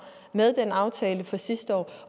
med den aftale fra sidste år